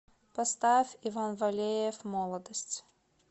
поставь иван валеев молодость